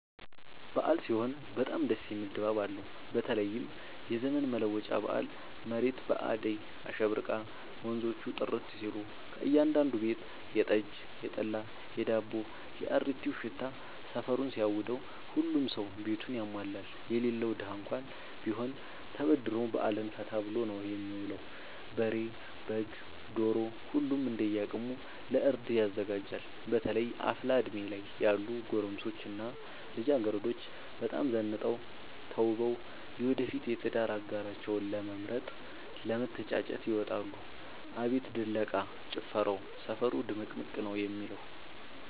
አበዓል ሲሆን በጣም ደስ የሚል ድባብ አለው በተለይም የዘመን መለወጫ በአል መሬት በአዳይ አሸብርቃ ወንዞቹ ጥርት ሲሉ ከእያዳዱ ቤት የጠጅ፣ የጠላ የዳቦው።፣ የአሪቲው ሽታ ሰፈሩን ሲያውደው። ሁሉም ሰው ቤቱን ያሟላል የሌለው ደሀ እንኳን ቢሆን ተበድሮ በአልን ፈታ ብሎ ነው የሚውለው። በሬ፣ በግ፣ ዶሮ ሁሉም እንደየ አቅሙ ለእርድ ያዘጋጃል። በተለይ አፍላ እድሜ ላይ ያሉ ጎረምሶች እና ልጃገረዶች በጣም ዘንጠው ተውበው የወደፊት የትዳር አጋራቸውን ለመምረጥ ለመተጫጨት ይወጣሉ። አቤት ድለቃ፣ ጭፈራው ሰፈሩ ድምቅምቅ ነው የሚለው።